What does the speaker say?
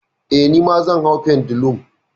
Eh, nima zan hau pendulum.